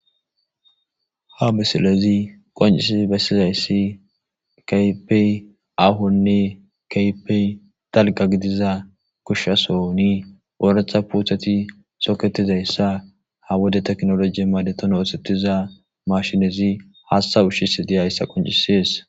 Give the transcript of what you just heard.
ha misilezi qoncisi bessizayssi kapey ahonne kaypey dalga gidiza kushshasoni ooretha puuthati soketizayssa ha wode teknoloji madeton oosettiza mashinezi hasta ushshis diyayssa qoncisees